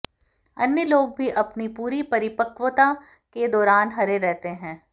अन्य लोग भी अपनी पूरी परिपक्वता के दौरान हरे रहते हैं